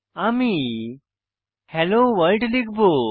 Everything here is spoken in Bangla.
আমি হেলো ভোর্ল্ড লিখব